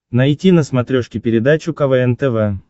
найти на смотрешке передачу квн тв